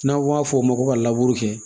N'an b'a f'o ma ko kɛ